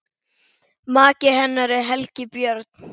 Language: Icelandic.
Maki hennar er Helgi Björn.